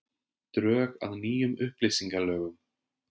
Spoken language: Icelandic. Drög að nýjum upplýsingalögum